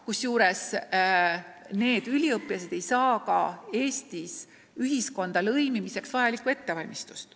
Kusjuures need üliõpilased ei saa ka Eestis ühiskonda lõimimiseks vajalikku ettevalmistust.